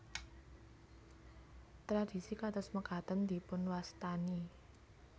Tradisi kados mekaten dipunwastani